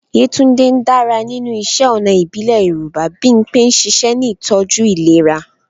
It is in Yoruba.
Yetunde dára nínú iṣẹ́ ọnà ìbílẹ̀ Yorùbá. Bimpe ń ṣiṣẹ́ ní ìtọ́jú ìlera.